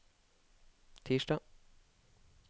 tirsdag